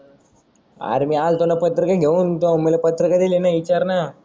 R मी आल्तो न पत्रिका घेऊन त्यो मला पत्रीका दिल ना इचार ना